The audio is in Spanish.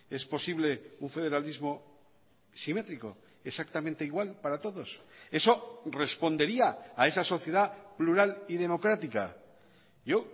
es posible un federalismo simétrico exactamente igual para todos eso respondería a esa sociedad plural y democrática yo